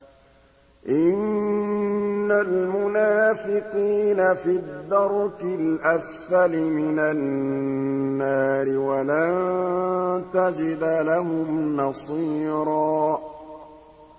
إِنَّ الْمُنَافِقِينَ فِي الدَّرْكِ الْأَسْفَلِ مِنَ النَّارِ وَلَن تَجِدَ لَهُمْ نَصِيرًا